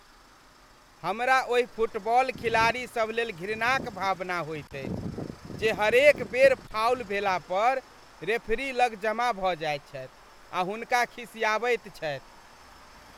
हमरा ओहि फुटबॉल खिलाड़ीसभ लेल घृणाक भावना होइत अछि जे हरेक बेर फाउल भेला पर रेफरी लग जमा भऽ जाइत छथि आ हुनका खिसिआबैत छथि।